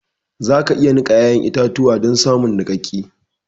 za ka iya nika ya'yan itatuwa don samun nikakke